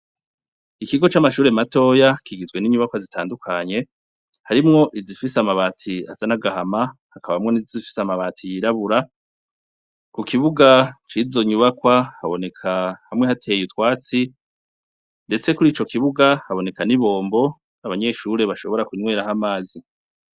Ikigo c'amashure matoya kigizwe n'inyubakwa zitandukanye, harimwo izifise amabati asa n'agahama hakaba n'izifise amabati yirabura, kukibuga cizo nyubakwa haboneka hamwe hateye utwatsi, ndetse kurico kibuga haboneka n'ibombo abanyeshure bashobora kunyweraho amazi.